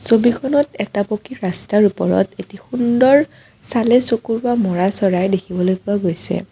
ছবিখনত এটা পকী ৰাস্তাৰ ওপৰত সুন্দৰ চালে চকুৰোৱা ম'ৰা চৰাই দেখিবলৈ পোৱা গৈছে।